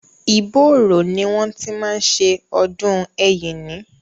Ìbóòrò ni wọ́n ti máa ń ṣe ọdún Ẹ̀yíní.